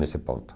Nesse ponto.